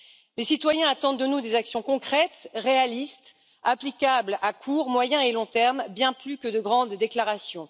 Les citoyens attendent de nous des actions concrètes, réalistes, applicables à court, moyen et long terme, bien plus que de grandes déclarations.